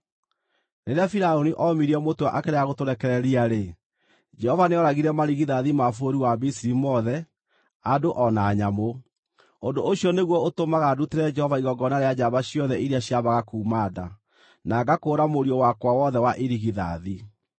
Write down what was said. Rĩrĩa Firaũni omirie mũtwe akĩrega gũtũrekereria-rĩ, Jehova nĩooragire marigithathi ma bũrũri wa Misiri mothe, andũ o na nyamũ. Ũndũ ũcio nĩguo ũtũmaga ndutĩre Jehova igongona rĩa njamba ciothe iria ciambaga kuuma nda, na ngakũũra mũriũ wakwa wothe wa irigithathi.